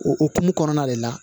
O hokumu kɔnɔna de la